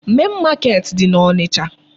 Main market dị n'Ọnịcha.